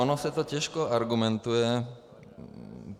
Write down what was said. Ono se to těžko argumentuje.